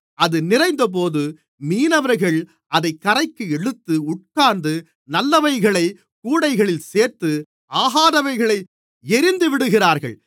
அது நிறைந்தபோது மீனவர்கள் அதைக் கரைக்கு இழுத்து உட்கார்ந்து நல்லவைகளைக் கூடைகளில் சேர்த்து ஆகாதவைகளை எறிந்துவிடுவார்கள்